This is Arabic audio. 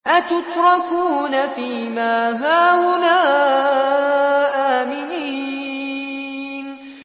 أَتُتْرَكُونَ فِي مَا هَاهُنَا آمِنِينَ